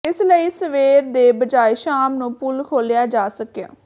ਇਸ ਲਈ ਸਵੇਰ ਦੇ ਬਜਾਏ ਸ਼ਾਮ ਨੂੰ ਪੁਲ ਖੋਲਿਆ ਜਾ ਸਕਿਆ